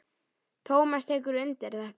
Tómas tekur undir þetta.